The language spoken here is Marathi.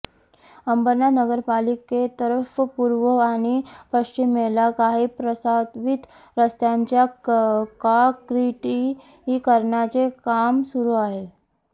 अंबरनाथ नगरपालिकेतर्फे पूर्व आणि पश्चिमेला काही प्रस्तावित रस्त्यांच्या काँक्रिटीकरणाचे काम सुरू आहे